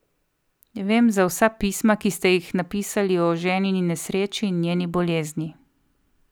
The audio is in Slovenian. Vem za vsa pisma, ki ste jih napisali o ženini nesreči in njeni bolezni.